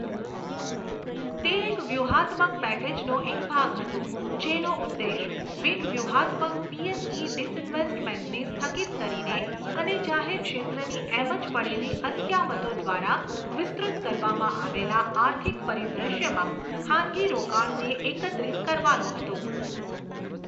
તે એક વ્યૂહાત્મક પેકેજનો એક ભાગ હતો, જેનો ઉદ્દેશ બિન વ્યૂહાત્મક પીએસઈ ડિસઇન્વેસ્ટમેન્ટને સ્થગિત કરીને અને જાહેર ક્ષેત્રની એમ જ પડેલી અસ્કયામતો દ્વારા વિસ્તૃત કરવામાં આવેલાં આર્થિક પરિદ્રશ્યમાં ખાનગી રોકાણને એકત્રિત કરવાનો હતો.